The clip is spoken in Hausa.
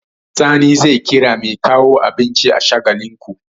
Sani zai kira mai kawo abinci a Shagalinku.